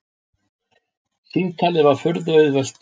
Símtalið var furðu auðvelt.